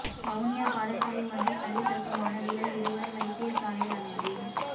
வவுனியா பாடசாலை ஒன்றில் கல்வி கற்கும் மாணவிகள் இருவர் வைத்தியசாலையில் அனுமதி